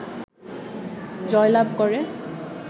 জয়লাভ করে